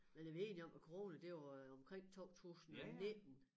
Men er vi enige om at corona det var omkring 2019?